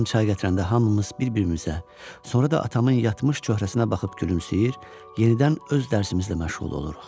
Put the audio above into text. Anam çay gətirəndə hamımız bir-birimizə, sonra da atamın yatmış cöhrəsinə baxıb gülümsüyür, yenidən öz dərsimizlə məşğul oluruq.